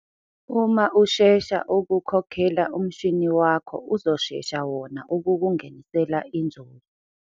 Uma ushesha ukukhokhela umshini wakho uzoshesha wona ukukungenisela inzuzo.